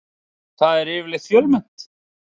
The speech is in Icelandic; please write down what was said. Þar er yfirleitt fjölmennt.